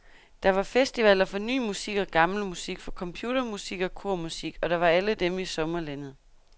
Der var festivaler for ny musik og gammel musik, for computermusik og kormusik, og der var alle dem i sommerlandet.